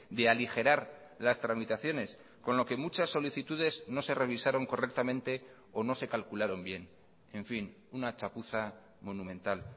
de aligerar las tramitaciones con lo que muchas solicitudes no se revisaron correctamente o no se calcularon bien en fin una chapuza monumental